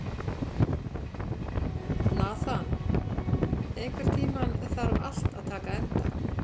Nathan, einhvern tímann þarf allt að taka enda.